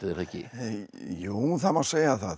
er það ekki jú það má segja það